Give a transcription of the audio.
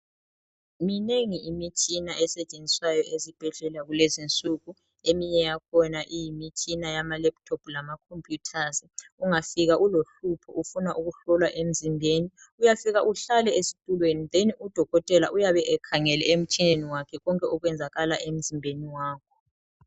Minengi imitshina esetshenziswayo ezibhedlela kulezinsuku. Eminye yakhona iyimitshina yama laptop lamacomputers ,ungafika ulohlupho ufuna ukuhlolwa emzimbeni uyafika uhlale esithulweni then udokothela uyabe ekhangele emtshineni wakhe konke okwenzakala emzimbeni wakho.